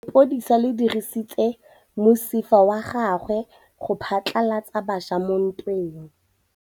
Lepodisa le dirisitse mosifa wa gagwe go phatlalatsa batšha mo ntweng.